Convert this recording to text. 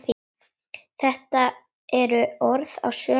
Þetta eru orð að sönnu.